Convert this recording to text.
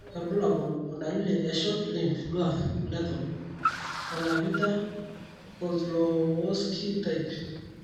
kakwa irbulabol o dalili e short limb dwarf lethal Colavita Kozlowski type?